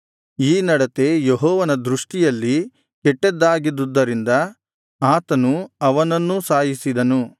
ಈ ನಡತೆ ಯೆಹೋವನ ದೃಷ್ಟಿಯಲ್ಲಿ ಕೆಟ್ಟದ್ದಾಗಿದ್ದುದರಿಂದ ಆತನು ಅವನನ್ನೂ ಸಾಯಿಸಿದನು